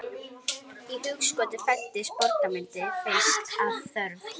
Í hugskoti fæddist borgarmyndin fyrst af þörf.